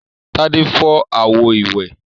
Tádé fọ́ àwo-ìwẹ̀?